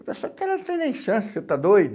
Eu pensava, cara, não tem nem chance, você está doido?